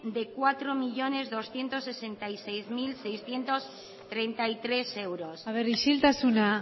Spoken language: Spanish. de cuatro millónes doscientos sesenta y seis mil seiscientos treinta y tres euros isiltasuna